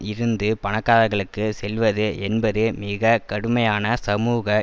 இருந்து பணக்காரர்களுக்கு செல்வது என்பது மிக கடுமையான சமூக